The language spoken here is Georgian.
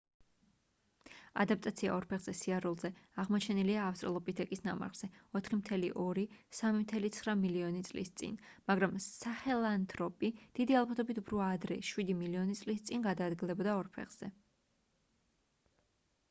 ადაპტაცია ორ ფეხზე სიარულზე აღმოჩენილია ავსტრალოპითეკის ნამარხზე 4.2-3.9 მილიონი წლის წინ მაგრამ საჰელანთროპი დიდი ალბათობით უფრო ადრე შვიდი მილიონი წლის წინ გადაადგილდებოდა ორ ფეხზე